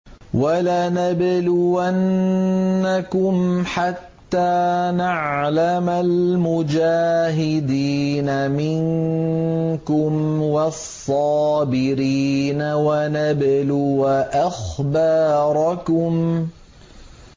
وَلَنَبْلُوَنَّكُمْ حَتَّىٰ نَعْلَمَ الْمُجَاهِدِينَ مِنكُمْ وَالصَّابِرِينَ وَنَبْلُوَ أَخْبَارَكُمْ